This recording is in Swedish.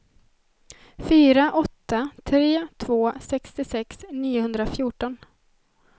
fyra åtta tre två sextiosex niohundrafjorton